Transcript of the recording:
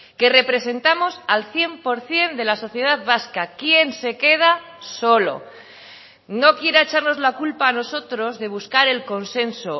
que representamos al cien por ciento de la sociedad vasca quién se queda solo no quiera echarnos la culpa a nosotros de buscar el consenso